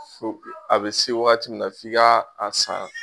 a bɛ se waati min na f'i ka a san.